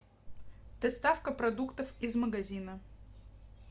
доставка продуктов из магазина